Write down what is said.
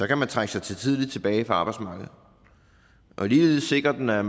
kan trække sig tidligere tilbage fra arbejdsmarkedet ligeledes sikrer den at